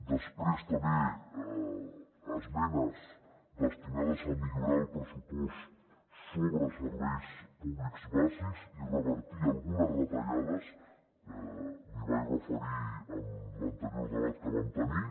després també esmenes destinades a millorar el pressupost sobre serveis públics bàsics i revertir algunes retallades que m’hi vaig referir en l’anterior debat que vam tenir